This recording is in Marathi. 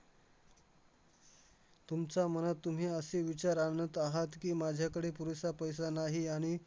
तुमच्या मनात तुम्ही असे विचार आणत आहात की, माझ्याकडे पुरेसा पैसा नाही, आणि